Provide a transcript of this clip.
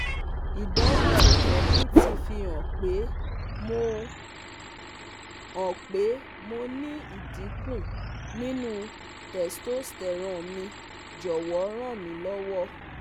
Idanwo eje mi ti fi han pe mo han pe mo ni idinku ninu testosterone mi Jowo ranmilowo